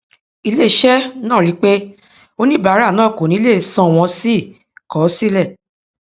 iléiṣẹ náà rí i wípé oníbàárà náà kò ní lè sanwọn sì kọ ọ sílẹ